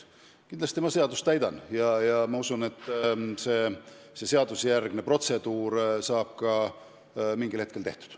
Kindlasti ma seadust täidan ja see seadusjärgne protseduur saab mingil hetkel tehtud.